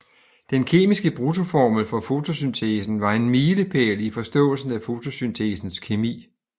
Den kemiske bruttoformel for fotosyntesen var en milepæl i forståelsen af fotosyntesens kemi